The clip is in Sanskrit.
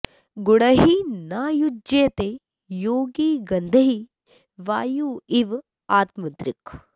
गुणैः न युज्यते योगी गन्धैः वायुः इव आत्मदृक्